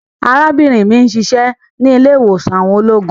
Arabinrin mi n ṣiṣẹ ni ile-iwosan àwọn ologun